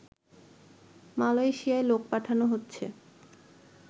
মালয়েশিয়ায় লোক পাঠানো হচ্ছে